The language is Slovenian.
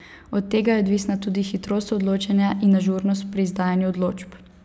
Od tega je odvisna tudi hitrost odločanja in ažurnost pri izdajanju odločb.